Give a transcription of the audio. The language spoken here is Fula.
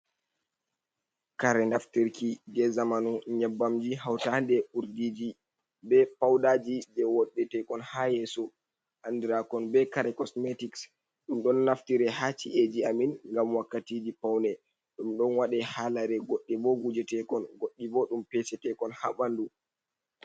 Kare naftirki je zamanu, nyebbam ji hautande urdiji, be paudaji, je woddetekon haa yeeso andiraakon be kare cosmetic ɗum ɗon naftire haa shi’eji amin ngam wakkatiji paune, ɗum ɗon waɗa haa lare goɗɗe ɓo gujetekon goɗɗi ɓo ɗum pese teekon haa ɓandu.